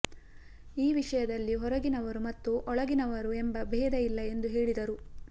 ಈ ವಿಷಯದಲ್ಲಿ ಹೊರಗಿನವರು ಮತ್ತು ಒಳ ಗಿನವರು ಎಂಬ ಭೇದ ಇಲ್ಲ ಎಂದು ಹೇಳಿದರು